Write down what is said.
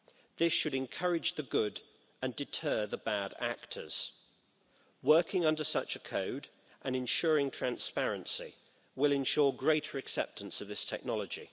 This should encourage the good actors and deter the bad ones. Working under such a code and ensuring transparency will ensure greater acceptance of this technology.